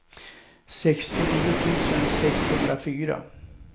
sextionio tusen sexhundrafyra